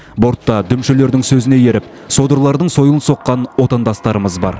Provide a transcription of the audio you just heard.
бортта дүмшелердің сөзіне еріп содырлардың сойылын соққан отандастарымыз бар